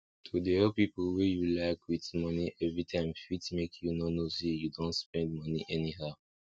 to dey help people wey you like wit moni everytime fit make you no know say you don dey spend moni anyhow